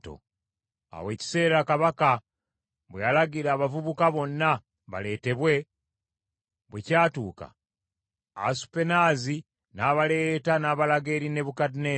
Awo ekiseera kabaka kye yalagira abavubuka bonna baleetebwe, bwe kyatuuka, Asupenaazi n’abaleeta n’abalaga eri Nebukadduneeza.